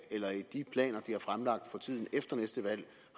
eller i de planer de har fremlagt for tiden efter næste valg